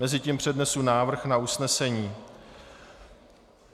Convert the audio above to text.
Mezi tím přednesu návrh na usnesení.